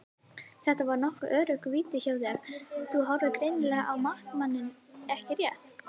Þetta var nokkuð öruggt víti hjá þér, þú horfðir greinilega á markmanninn ekki rétt?